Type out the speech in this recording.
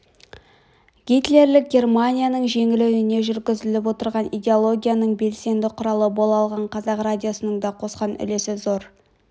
гитлерлік германияның жеңілуіне жүргізіліп отырған идеологияның белсенді құралы бола алған қазақ радиосының да қосқан үлесі зор